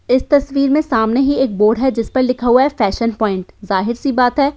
इस तस्वीर में सामने ही एक बोर्ड है जिस पर लिखा हुआ है फैशन पॉइंट जाहिर सी बात है --